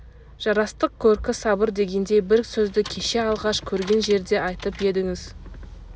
жарастық көркі сабыр дегендей бір сөзді кеше алғаш көрген жерде айтып едіңіз